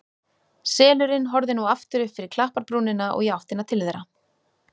Selurinn horfði nú aftur upp fyrir klapparbrúnina og í áttina til þeirra.